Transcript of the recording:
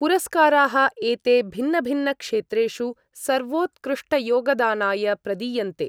पुरस्काराः एते भिन्नभिन्नक्षेत्रेषु सर्वोत्कृष्टयोगदानाय प्रदीयन्ते।